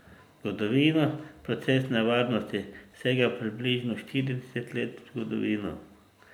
Zgodovina procesne varnosti sega približno štirideset let v zgodovino.